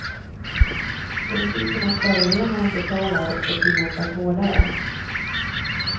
Principen att förorenaren betalar ska tillämpas hårdare.